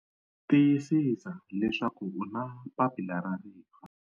Tiyisisa leswaku u na papila ra rifa!